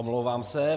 Omlouvám se.